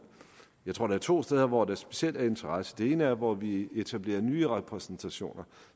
jeg tror der er to steder hvor der specielt er interesse det ene er der hvor vi etablerer nye repræsentationer